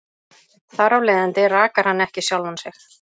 Þar af leiðandi rakar hann ekki sjálfan sig.